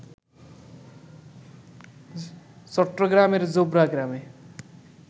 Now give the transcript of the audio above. চট্টগ্রামের জোবরা গ্রামে